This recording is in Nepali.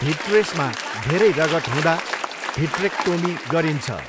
भिट्रेसमा धेरै रगत हुँदा भिट्रेक्टोमी गरिन्छ।